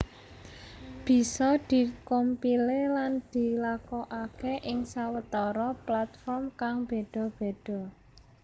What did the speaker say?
Bisa di compile lan dilakokaké ing sawetara platform kang béda béda